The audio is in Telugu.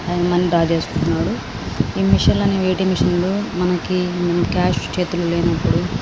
అండ్ మనీ డ్రా చేసుకుంటున్నాడు. ఈ మెషిన్ లన్ని ఏ.టి.ఎం. మెషిన్ లు మనకి కాష్ చేతిలో లేనప్పుడు --